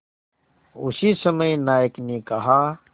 उसी समय नायक ने कहा